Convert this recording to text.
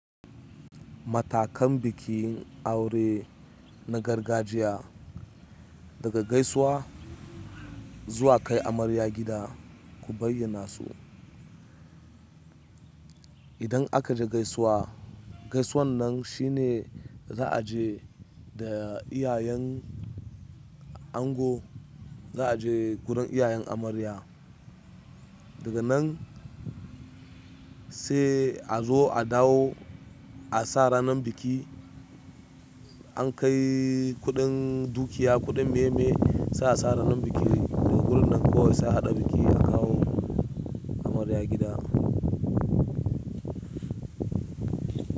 Matakan bikin aure na gargajiya daga gaisuwa zuwa kai amarya gida, ku bayyana su. Idan aka je gaisuwa, gaisuwan nan shi ne za a je da iyayen ango, za a je gurin iyayen amarya. Daga nan sai azo adawo asa ranan biki. An kai kuɗin dukiya, kuɗin me-me sai a sa ranar biki. Daga gurin nan kawai sai a haɗa biki a kawo amarya gida.